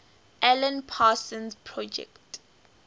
alan parsons project